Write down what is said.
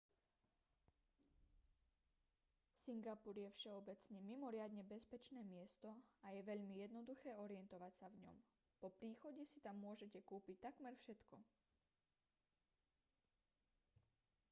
singapur je všeobecne mimoriadne bezpečné miesto a je veľmi jednoduché orientovať sa v ňom po príchode si tam môžete kúpiť takmer všetko